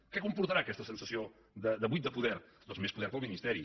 què comportarà aquesta sensació de buit de poder doncs més poder per al ministeri